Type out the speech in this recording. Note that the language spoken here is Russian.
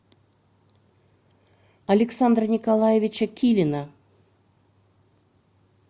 александра николаевича килина